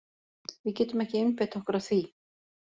Við getum ekki einbeitt okkur að því.